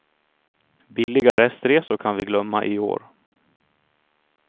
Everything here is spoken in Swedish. Billiga restresor kan vi glömma i år.